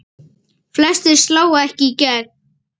Flestir slá ekki í gegn.